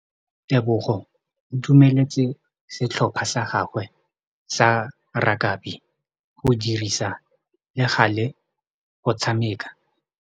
Tebogô o dumeletse setlhopha sa gagwe sa rakabi go dirisa le galê go tshameka.